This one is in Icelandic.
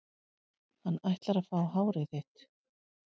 Hann ætlar að fá hárið þitt.